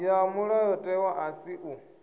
ya mulayotewa a si u